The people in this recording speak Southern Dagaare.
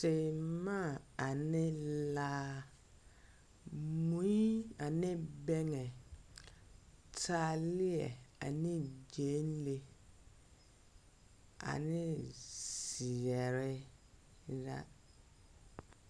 Teemaa ane laa, mui ane bɛŋɛ, taaleɛ ane gyɛnlee, ane zeɛre la.